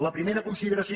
la primera consideració